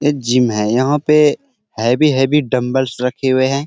ये जिम है यहाँ पे हैवी -हैवी डम्बलस रखे हुए हैं |